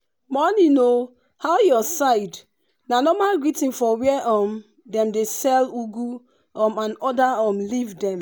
morning oo how your side na normal greeting for where um dem dey sell ugwu and um other um leaf dem